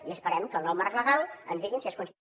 i esperem que el nou marc legal ens digui si és consti